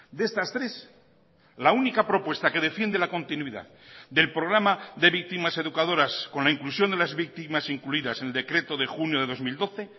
de estas tres la única propuesta que defiende la continuidad delprograma de víctimas educadoras con la inclusión de las víctimas incluidas en el decreto de junio de dos mil doce